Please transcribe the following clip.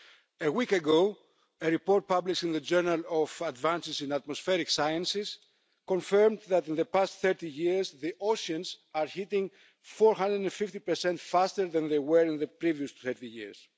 A week ago, a report published in the Journal of Advances in Atmospheric Sciences confirmed that in the past 30 years the oceans are heating 450 faster than they were in the previous 20 years.